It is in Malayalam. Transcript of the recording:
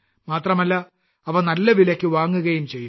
മാത്രമല്ല അവ നല്ല വിലയ്ക്ക് വാങ്ങുകയും ചെയ്യുന്നു